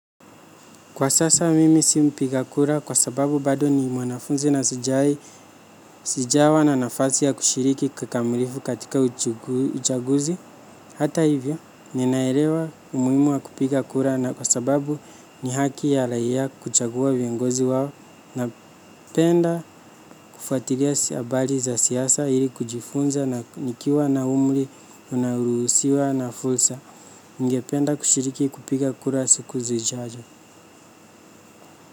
Kwa sasa mimi si mpiga kura kwa sababu bado ni mwanafunzi na sijawahi, sijawa na nafasi ya kushiriki kikamilifu katika uchaguzi. Hata hivyo ninaelewa umuhimu wa kupiga kura na kwa sababu ni haki ya raia kuchagua vingozi wao na penda kufuatilia si habari za siasa ili kujifunza na nikiwa na umri unao ruhusiwa na fursa. Ningependa kushiriki kupiga kura siku zijazo.